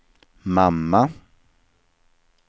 mamma